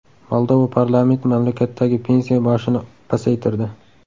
Moldova parlamenti mamlakatdagi pensiya yoshini pasaytirdi.